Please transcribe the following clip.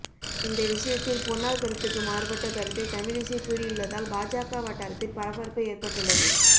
இந்த விசயத்தில் பொன்னார் கருத்துக்கு மாறுபட்ட கருத்தை தமிழிசை கூறியுள்ளதால் பாஜக வட்டாரத்தில் பரபரப்பு ஏற்பட்டுள்ளது